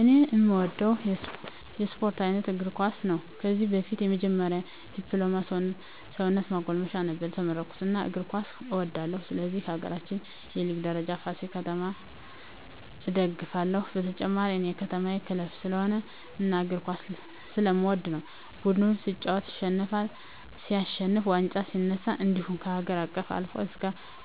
እኔ እምወደው የስፓርት አይነት እግርኳስ ነው ከዚህ በፊት የመጀመሪ ድፕሎማ ሰውነት ማጎልመሻ ነበር የተመረኩት እናም እግር ኳስ እወዳለሁ ስለሆነም በሀገራችን የሊግ ደረጃ ፍሲል ከተማ እደግፍለ ሁ በተጨማሪ እኔ የከተማየ ክለብ ስለሆነ እና እግር ኳስ ስለምወድ ነው ቡድኑ ሲጫወት ሲሸንፍ ዋንጫ ሲነሳ እንድሁም ከሀገር አቀፍ አልፎ እስከ